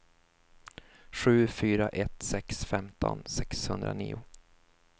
sju fyra ett sex femton sexhundranio